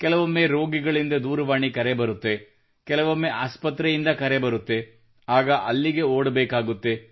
ಕೆಲವೊಮ್ಮೆ ರೋಗಿಯಿಂದ ದೂರವಾಣಿ ಕರೆ ಬರುತ್ತದೆ ಕೆಲವೊಮ್ಮೆ ಆಸ್ಪತ್ರೆಯಿಂದ ಕರೆ ಬರುತ್ತದೆ ಆಗ ಅಲ್ಲಿಗೆ ಓಡಬೇಕಾಗುತ್ತದೆ